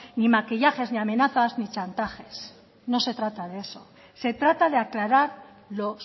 ni maquillajes ni amenazas ni chantajes no se trata de eso se trata de aclarar lo